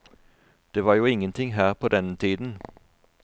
Det var jo ingenting her på denne tiden.